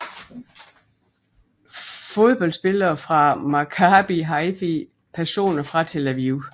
Fodboldspillere fra Maccabi Haifa Personer fra Tel Aviv